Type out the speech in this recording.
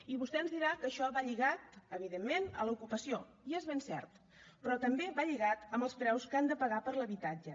i vostè ens dirà que això va lligat evidentment a l’ocupació i és ben cert però també va lligat als preus que han de pagar per l’habitatge